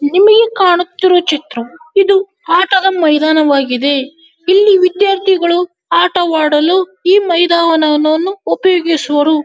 ನಿಮಗೆ ಕಾಣುತ್ತಿರುವ ಚಿತ್ರವೂ ಐದು ಆಟದ ಮೈದಾನವಾಗಿದೆ ಇಲ್ಲಿ ವಿದ್ಯಾರ್ಥಿಗಳು ಆಟವಾಡಲು ಮೈದಾನವನವನ್ನು ಉಪಯೋಗಿಸುವರು.